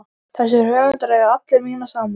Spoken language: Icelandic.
Þessir höfundar eiga alla mína samúð.